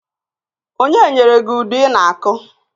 Onye nyere gị udu i na- akụ?